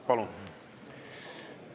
Palun!